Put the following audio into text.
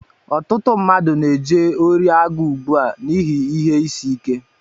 Ọtụtụ mmadụ na-eje ori agụụ ugbu a n'ihi ihe ịsị ike